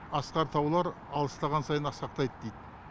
асқар таулар алыстаған сайын асқақтайды дейді